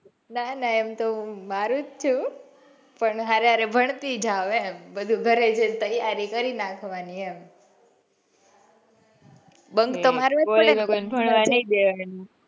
ના ના એમ તો મારુ જ છું પણ હરે હરે ભણતી જાઉં એમ બધું ગરે જઈને તૈયારી કરી નાખવાની એમ. bunk તો મારવા જ પડેને ભણવા નઈ,